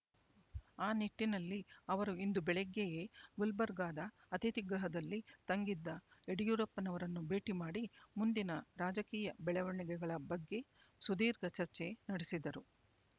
ಆ ನಿಟ್ಟಿನಲ್ಲಿ ಅವರು ಇಂದು ಬೆಳಿಗ್ಗೆಯೇ ಗುಲ್ಬರ್ಗಾದ ಅತಿಥಿಗೃಹದಲ್ಲಿ ತಂಗಿದ್ದ ಯಡಿಯೂರಪ್ಪನವರನ್ನು ಭೇಟಿ ಮಾಡಿ ಮುಂದಿನ ರಾಜಕೀಯ ಬೆಳವಣಿಗೆಗಳ ಬಗ್ಗೆ ಸುದೀರ್ಘ ಚರ್ಚೆ ನಡೆಸಿದರು